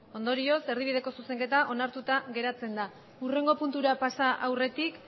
ondorioz erdibideko zuzenketa onartuta geratzen da hurrengo puntura pasa aurretik